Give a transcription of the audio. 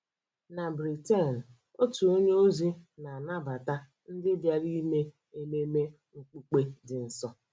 NA [c] Britain [c], otu onye ozi na-anabata ndị bịara ime ememe okpukpe dị nsọ